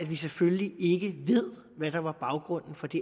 vi selvfølgelig ikke ved hvad der var baggrunden for det